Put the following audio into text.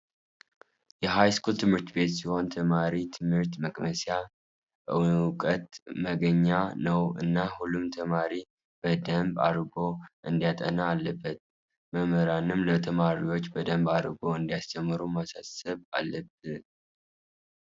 የሃይስኩል ትምህርቲቤት ሲሆን ተማሮ ትምህርት መቅሰሚያ፣ እውቀት ማገኛ ነው እና ሁሉም ተማሪ በደምብ ኣድርጎ እንዲያጥና ኣለበት። መምህራንም ለተማሪዎች በደንብ ኣድርጎ እንዲያስተምህሩ ማሳሰብ ኣለበት።